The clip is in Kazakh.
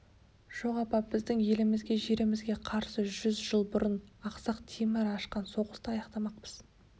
жоқ апа біздің елімізге жерімізге қарсы жүз жыл бұрын ақсақ темір ашқан соғысты аяқтамақпыз